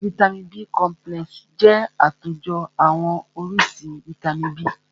Vàìtamínií B complexi jẹ́ àtòjọ àwọn oríṣi vàìtamínií B.